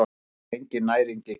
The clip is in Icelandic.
Hins vegar er engin næring í kaffi.